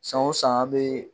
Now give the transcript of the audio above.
San o san an be